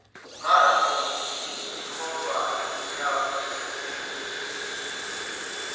ngasho ngikhomba inhlabaluhide